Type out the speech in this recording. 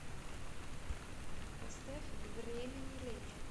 поставь время не лечит